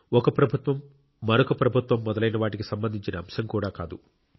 ఒక ప్రభుత్వంమరొక ప్రభుత్వం మొదలైన వాటికి సంబంధించిన అంశం కూడా కాదు